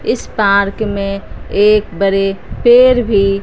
इस पार्क में एक बड़े पेड़ भी--